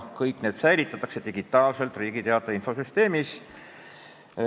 Kõiki neid säilitatakse aga digitaalselt Riigi Teataja infosüsteemis.